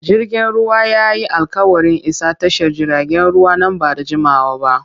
Jirgin ruwan ya yi alƙawarin isa tashar jiragen ruwa nan ba da jimawa ba.